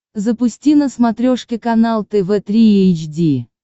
запусти на смотрешке канал тв три эйч ди